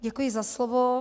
Děkuji za slovo.